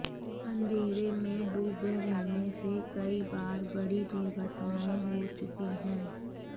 अंधेरे में डूबे रहने से कई बार बड़ी दुर्घटनाएं हो चुकी है